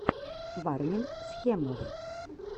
варнинг схемов